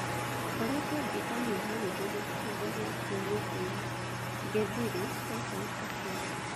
’ngoretwo ngĩĩka meharĩrĩria ihinda rĩa kiumia kĩmwe gĩthiry’’ Tyson akiuga